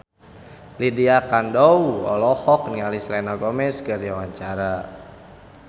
Lydia Kandou olohok ningali Selena Gomez keur diwawancara